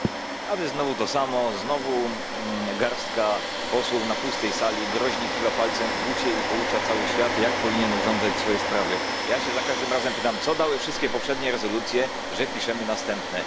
Panie Przewodniczący! A Wy znowu to samo znowu garstka posłów na pustej sali groźnie kiwa palcem w bucie i poucza cały świat, jak powinien urządzać swoje sprawy. Ja się za każdym razem pytam, co dały wszystkie poprzednie rezolucje, że piszemy następne.